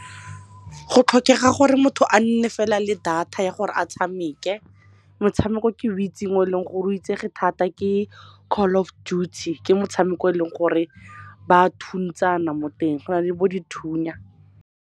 Go tlhokega gore motho a nne fela le data ya gore a tshameke. Motshameko ke o itseng o eleng gore o itsege thata ke Call of Duty. Ke motshameko o eleng gore ba thusantsana mo teng, go na le bo dithunya.